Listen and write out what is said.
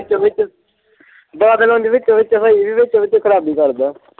ਵਿੱਚੋਂ-ਵਿੱਚ ਬਾਦਲ ਹੁਣ ਵੀ ਵਿੱਚੋਂ- ਵਿੱਚ ਖਰਾਬੀ ਕਰਦਾ।